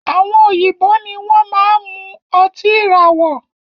Àwọn òyìnbó ní wọn máa n mú ọtí ìràwọ̀